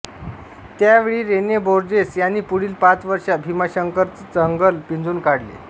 त्या वेळी Rene Borges यांनी पुढील पाच वर्षे भीमाशंकरचं जंगल पिंजून काढले